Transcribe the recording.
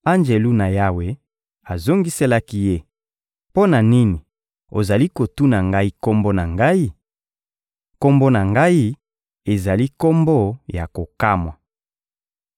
Anjelu na Yawe azongiselaki ye: — Mpo na nini ozali kotuna ngai kombo na ngai? Kombo na ngai ezali kombo ya kokamwa.